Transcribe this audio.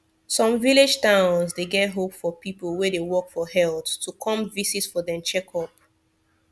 some village towns dey get hope for people wey dey work for health to come visit for dem checkup